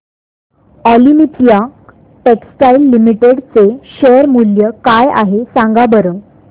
Olympia textiles limited चे share मूल्य काय आहे सांगा बरं